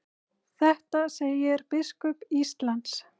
Þetta segir biskup Íslands.